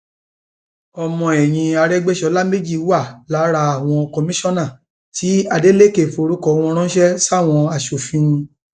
ọmọ ẹyìn arégbèsọlá méjì wà lára àwọn kọmíṣánná tí adeleke forúkọ wọn ránṣẹ sáwọn aṣòfin